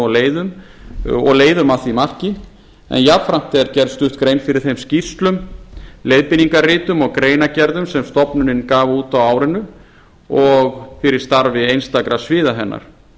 á leiðum og leiðum að því marki en jafnframt er gerð stutt grein fyrir þeim skýrslum leiðbeiningarritum og greinargerðum sem stofnunin gaf út á árinu og fyrir starfi einstakra sviða hennar